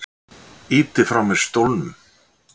Ýti frá mér stólnum.